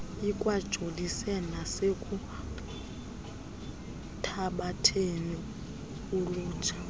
ikwajolise nasekuthabatheni ulutsha